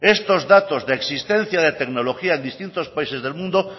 estos datos de existencia de tecnología en distintos países del mundo